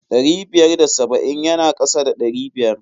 Ɗari biyar da saba'in ya na kasa da ɗari biyar.